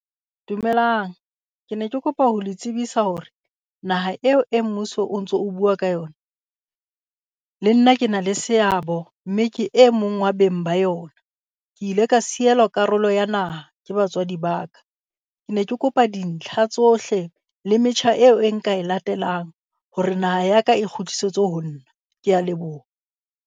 Dumelang ke ne ke kopa ho le tsebisa hore naha eo e mmuso o ntso o bua ka yona, le nna ke na le seabo mme ke e mong wa beng ba yona. Ke ile ka sielwa karolo ya naha ke batswadi ba ka. Ke ne ke kopa dintlha tsohle le metjha eo e nka e latelang hore naha ya ka e kgutlisetswe ho nna. Kea leboha.